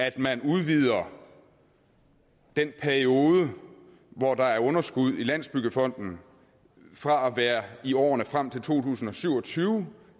at man udvider den periode hvor der er underskud i landsbyggefonden fra at være i årene frem til to tusind og syv og tyve